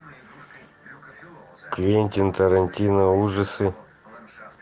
квентин тарантино ужасы